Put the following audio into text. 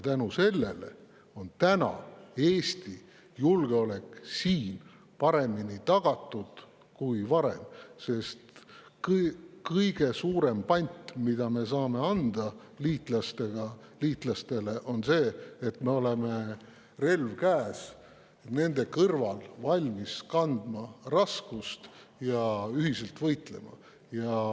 Tänu sellele on Eesti julgeolek siin tagatud nüüd paremini kui varem, sest kõige suurem pant, mida me saame liitlastele anda, on see, et me oleme nende kõrval – relv käes – valmis kandma raskust ja ühiselt võitlema.